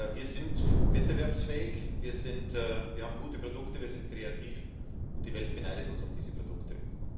Wir sind wettbewerbsfähig, wir haben gute Produkte, wir sind kreativ, und die Welt beneidet uns um diese Produkte.